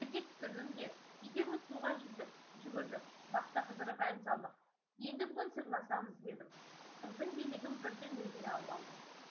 жерге түсірдім де екеуміз суға жүздік жүгірдік бақта қыдырып ән салдық енді бүгін сырласамыз дедім қыздың билігін бірден өзіме алып алдым